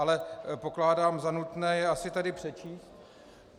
Ale pokládám za nutné je asi tady přečíst...